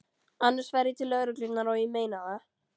Annars fer ég til lögreglunnar, og ég meina það.